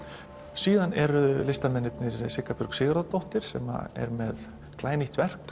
síðan eru listamennirnir Sigga Björg Sigurðardóttir sem er með glænýtt verk